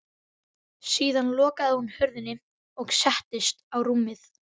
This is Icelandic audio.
Síðan lokaði hún hurðinni og settist á rúmið.